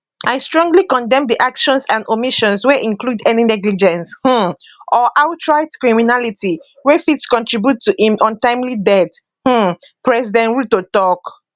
i strongly condemn di actions and omissions wey include any negligence um or outright criminality wey fit contribute to im untimely death um president ruto tok